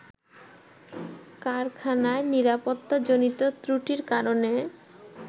কারখানায় নিরাপত্তাজনিত ত্রুটির কারণে